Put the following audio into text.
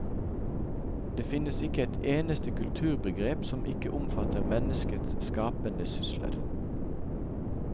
Det finnes ikke et eneste kulturbegrep som ikke omfatter menneskets skapende sysler.